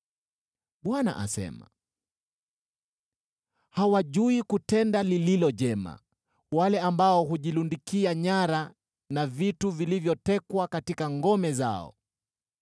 Bwana asema: “Hawajui kutenda lililo jema, wale ambao hujilundikia nyara na vitu vilivyotekwa katika ngome zao.”